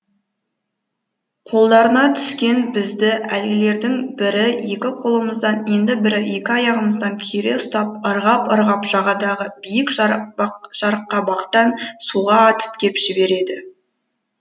қолдарына түскен бізді әлгілердің бірі екі қолымыздан енді бірі екі аяғымыздан кере ұстап ырғап ырғап жағадағы биік жарқабақтан суға атып кеп жібереді